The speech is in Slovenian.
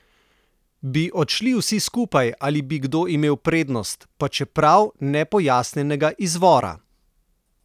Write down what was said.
Bi odšli vsi skupaj ali bi kdo imel prednost, pa čeprav nepojasnjenega izvora?